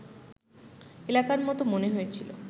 এলাকার মতো মনে হয়েছিল